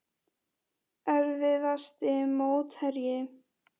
Erfiðasti mótherji?